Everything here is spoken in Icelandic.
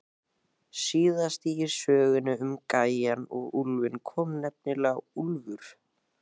Síðast í sögunni um gæjann og úlfinn kom nefnilega úlfur.